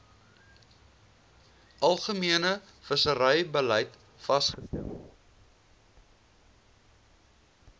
algemene visserybeleid vasgestel